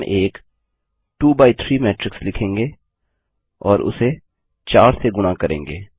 हम एक 2 by 3 matrix लिखेंगे और उसे 4 से गुणा करेंगे